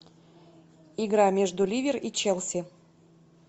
игра между ливер и челси